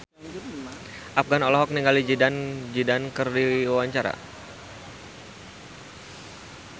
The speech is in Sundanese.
Afgan olohok ningali Zidane Zidane keur diwawancara